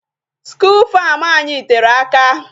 School farm anyị tere aka.